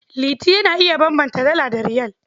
Liti yana iya bambanta Dala da Riyal.